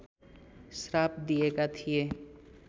श्राप दिएका थिए